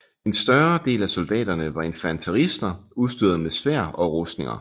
En større del af soldaterne var infanterister udstyrede med sværd og rustninger